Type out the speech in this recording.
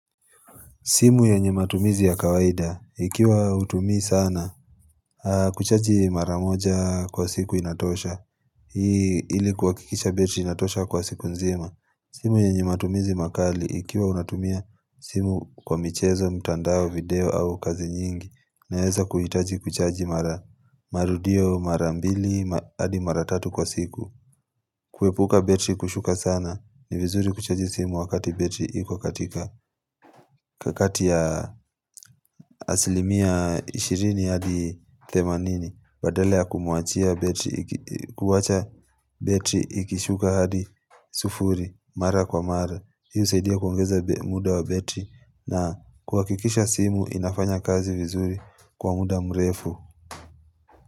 Simu yenye matumizi ya kawaida, ikiwa hutumii sana, kuchaji mara moja kwa siku inatosha, ili kuhakikisha betri inatosha kwa siku nzima. Simu yenye matumizi makali, ikiwa unatumia simu kwa michezo, mtandao, video au kazi nyingi, naeza kuhitaji kuchaji mara marudio mara mbili, hadi mara tatu kwa siku. Kuepuka betri kushuka sana, ni vizuri kuchaji simu wakati betri iki katika kakati ya asilimia ishiri ishirini hadi themamini badala ya kumuachia betri, kuwacha betri ikishuka hadi sufuri, mara kwa mara Hii saidia kuongeza muda wa betri na kuwakikisha simu inafanya kazi vizuri kwa muda mrefu.